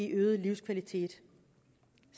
øget livskvalitet